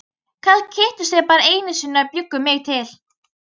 Kannski hittust þau bara einu sinni og bjuggu mig til.